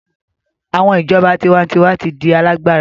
Awọn ijọba tiwantiwa ti n di alagbara